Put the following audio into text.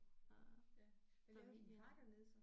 Øh familie og